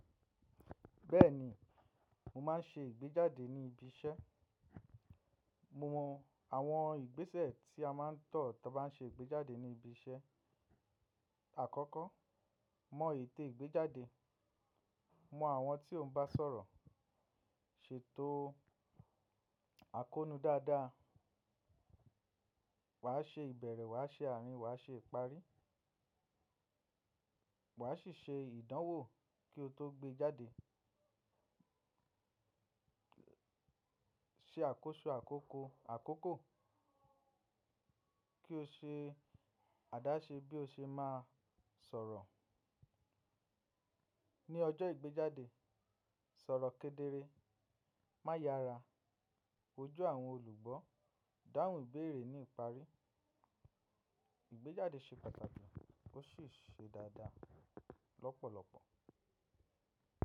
Bẹ́ẹ̀ni, mo máa ń ṣe ìgbéjáde ní ibi iṣẹ́. Mo mọ àwọn ìgbésẹ̀ tí a máa ń tọ̀ tí a bá ń ṣe ìgbéjáde ní ibi iṣẹ́. Àkọ́kọ́, mọ ète ìgbéjáde, mọ àwọn tí ò ń bá sọ̀rọ̀, ṣètò àkóónú dáadáa. Wàá ṣe ìbẹ̀rẹ̀, wàá ṣe àárín, wàá ṣe ìparí. Wà á sì ṣe ìdánwò kí o tó gbé jáde. Se àkóso àkókò ki o se àdáse bi o se maa sòrò. Ni ojó igbejade, sòrò kedere, maa yára, wojú àwon ólùgbó, dáhùn ìbéérè ni ìparí. Ìgbéjáde ṣe pàtàkì ó sì ṣe dáadáa lọ́pọ̀lọpọ̀.